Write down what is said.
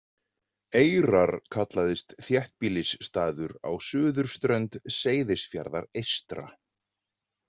Eyrar kallaðist þéttbýlisstaður á suðurströnd Seyðisfjarðar eystra.